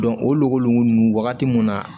o logolo nunnu wagati mun na